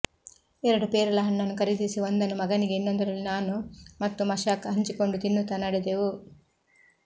ಎರಡು ಪೇರಲ ಹಣ್ಣನ್ನು ಖರೀದಿಸಿ ಒಂದನ್ನು ಮಗನಿಗೆ ಇನ್ನೊಂದರಲ್ಲಿ ನಾನು ಮತ್ತು ಮಶಾಕ್ ಹಂಚಿಕೊಂಡು ತಿನ್ನುತ್ತಾ ನಡೆದವು